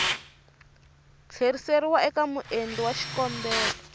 tlheriseriwa eka muendli wa xikombelo